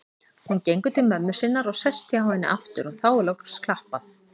Hún gengur til mömmu sinnar og sest hjá henni aftur og þá loks er klappað.